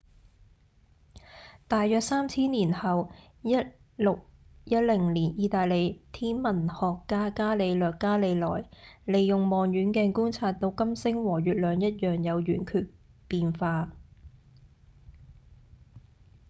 大約三千年後1610年義大利天文學家伽利略·伽利萊使用望遠鏡觀察到金星和月亮一樣有圓缺變化